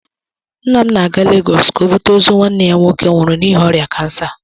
Nna m na-aga Lagos ka o bute ozu nwanne ya nwoke nwụrụ n'ihi ọrịa kansa.